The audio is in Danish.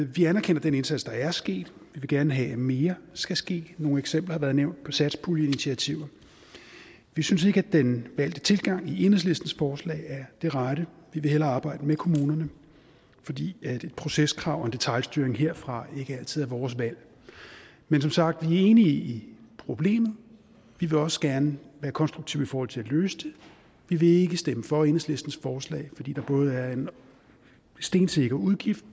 vi anerkender den indsats der er sket vi vil gerne have at mere skal ske nogle eksempler har været nævnt på satspuljeinitiativer vi synes ikke at den valgte tilgang i enhedslistens forslag er det rette vi vil hellere arbejde med kommunerne fordi proceskrav og detailstyring herfra ikke altid er vores valg men som sagt er vi enige i problemet vi vil også gerne være konstruktive i forhold til at løse det vi vil ikke stemme for enhedslistens forslag fordi der både er en stensikker udgift